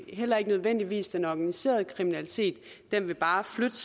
heller ikke nødvendigvis den organiserede kriminalitet den vil bare flyttes